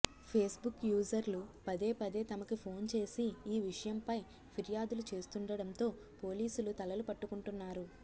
Facebook యూజర్లు పదే పదే తమకి ఫోన్ చేసి ఈ విషయంపై ఫిర్యాదులు చేస్తుండడంతో పోలీసులు తలలు పట్టుకుంటున్నారు